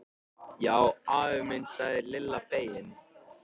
Já afi minn sagði Lilla fegin.